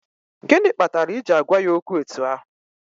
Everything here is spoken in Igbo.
Gịnị kpatara i ji agwa ya okwu etu ahụ?